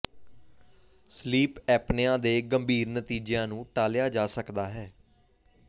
sleep apnea ਦੇ ਗੰਭੀਰ ਨਤੀਜਿਆਂ ਨੂੰ ਟਾਲਿਆ ਜਾ ਸਕਦਾ ਹੈ